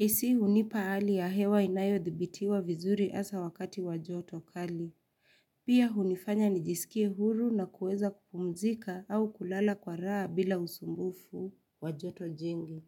AC hunipa hali ya hewa inayo dhibitiwa vizuri asa wakati wa joto kali. Pia hunifanya nijiskie huru na kueza kupumzika au kulala kwa raa bila usumbufu wa joto jingi.